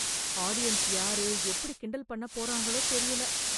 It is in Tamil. ஆடியன்ஸ் யாரு எப்படி கிண்டல் பண்ண போறாங்களோ தெரியல